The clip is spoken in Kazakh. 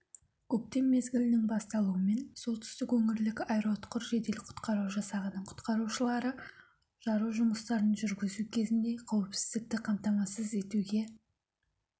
көктем мезгілінің басталуымен солтүстік өңірлік аэроұтқыр жедел-құтқару жасағының құтқарушылары жару жұмыстарын жүргізу кезінде қауіпсіздікті қамтамасыз етуге